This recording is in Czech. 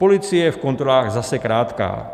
Policie je v kontrolách zase krátká.